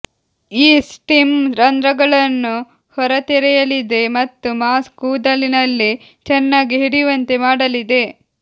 ಈ ಸ್ಟೀಮ್ ರಂಧ್ರಗಳನ್ನು ಹೊರತೆರೆಯಲಿದೆ ಮತ್ತು ಮಾಸ್ಕ್ ಕೂದಲಿನಲ್ಲಿ ಚೆನ್ನಾಗಿ ಹಿಡಿಯುವಂತೆ ಮಾಡಲಿದೆ